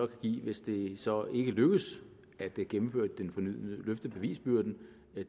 give hvis det så ikke lykkes at løfte bevisbyrden